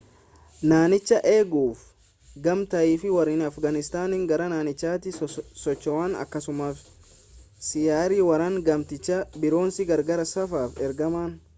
naanichaa eeguuf gamtaafi waraanni afgaanistaan gara naannichaatti socho'an akkasuma xiyyaarri waraanaa gamtichaa biroonis gargaarsaaf ergaman